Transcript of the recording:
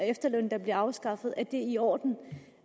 efterlønnen der bliver afskaffet er i orden